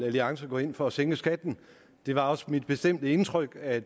alliance går ind for at sænke skatten det var også mit bestemte indtryk at